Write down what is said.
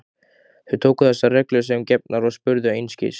Þau tóku þessar reglur sem gefnar og spurðu einskis.